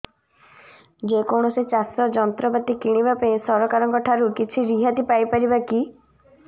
ଯେ କୌଣସି ଚାଷ ଯନ୍ତ୍ରପାତି କିଣିବା ପାଇଁ ସରକାରଙ୍କ ଠାରୁ କିଛି ରିହାତି ପାଇ ପାରିବା କି